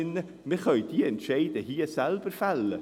Wir können die Entscheide hier selber fällen.